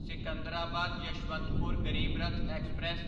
Secunderabad Yeshwantpur Garib Rath express